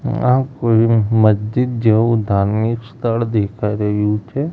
આ કોઈ મસ્જિદ જેવુ ધાર્મિક સ્થળ દેખાઈ રહ્યુ છે.